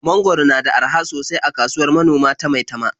Mangwaro na da araha sosai a kasuwar manoma ta Maitama.